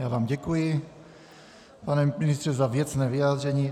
Já vám děkuji, pane ministře, za věcné vyjádření.